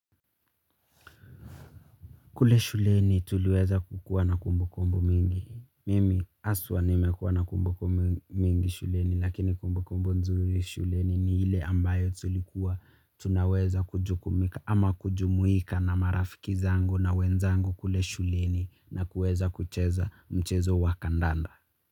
Kule shuleni tuliweza kukuwa na kumbukumbu mingi. Mimi haswa nimekuwa na kumbukumbu mingi shuleni lakini kumbukumbu nzuri shuleni ni ile ambayo tulikuwa tunaweza kujukumika ama kujumuika na marafiki zangu na wenzangu kule shuleni na kuweza kucheza mchezo wa kandanda.